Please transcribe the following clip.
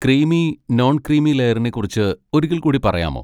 Creamy, non creamy ലെയറിനെ കുറിച്ച് ഒരിക്കൽ കൂടി പറയാമോ?